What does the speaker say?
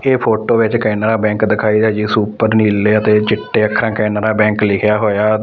ਇਹ ਫੋਟੋ ਵਿੱਚ ਕੈਨਰਾ ਬੈਂਕ ਦਿਖਾਇਆ ਜਿਸ ਉੱਪਰ ਨੀਲੇ ਅਤੇ ਚਿੱਟੇ ਅੱਖਰਾਂ ਕੈਨਰਾ ਬੈਂਕ ਲਿਖਿਆ ਹੋਇਆ--